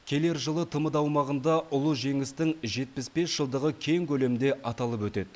келер жылы тмд аумағында ұлы жеңістің жетпіс бес жылдығы кең көлемде аталып өтеді